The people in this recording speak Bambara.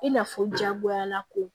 I n'a fɔ jagoyala ko